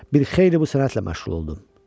Bir xeyli bu sənətlə məşğul oldum.